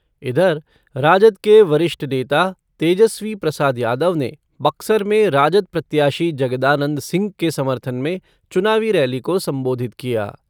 इधर, राजद के वरिष्ठ नेता तेजस्वी प्रसाद यादव ने बक्सर में राजद प्रत्याशी जगदानंद सिंह के समर्थन में चुनावी रैली को संबोधित किया।